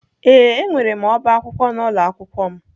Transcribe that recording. Ee, enwere m ọbá akwụkwọ n'ụlọ akwụkwọ m.